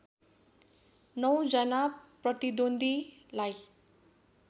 नौ जना प्रतिद्वन्द्वीलाई